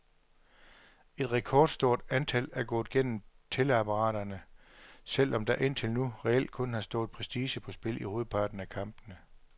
Et rekordstort antal er gået gennem tælleapparaterne, selv om der indtil nu reelt kun har stået prestige på spil i hovedparten af kampene.